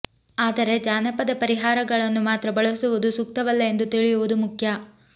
ಆದರೆ ಜಾನಪದ ಪರಿಹಾರಗಳನ್ನು ಮಾತ್ರ ಬಳಸುವುದು ಸೂಕ್ತವಲ್ಲ ಎಂದು ತಿಳಿಯುವುದು ಮುಖ್ಯ